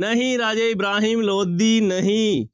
ਨਹੀਂ ਰਾਜੇ ਇਬਰਾਹਿਮ ਲੋਧੀ ਨਹੀਂ।